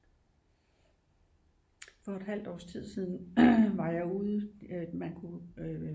For et halvt års tid siden var jeg ude man kunne